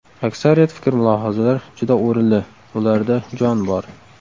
Aksariyat fikr-mulohazalar juda o‘rinli, ularda jon bor.